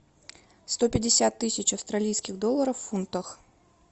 сто пятьдесят тысяч австралийских долларов в фунтах